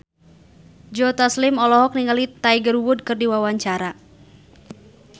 Joe Taslim olohok ningali Tiger Wood keur diwawancara